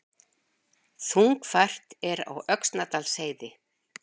Þungfært er á Öxnadalsheiði